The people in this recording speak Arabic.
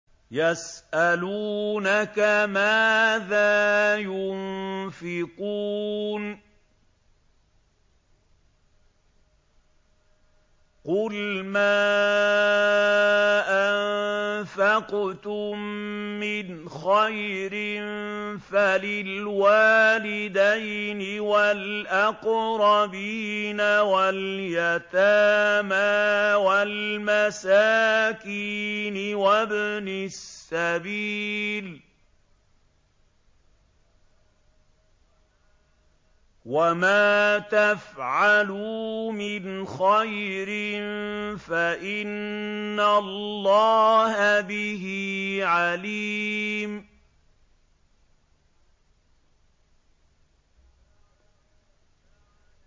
يَسْأَلُونَكَ مَاذَا يُنفِقُونَ ۖ قُلْ مَا أَنفَقْتُم مِّنْ خَيْرٍ فَلِلْوَالِدَيْنِ وَالْأَقْرَبِينَ وَالْيَتَامَىٰ وَالْمَسَاكِينِ وَابْنِ السَّبِيلِ ۗ وَمَا تَفْعَلُوا مِنْ خَيْرٍ فَإِنَّ اللَّهَ بِهِ عَلِيمٌ